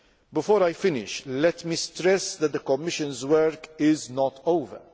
Before I finish, let me stress that the Commission's work is not